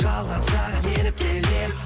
жалған саған еріп келем